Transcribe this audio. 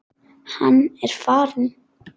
En hann er farinn.